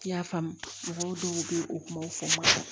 I y'a faamu mɔgɔw dɔw bɛ u kumaw fɔ n ma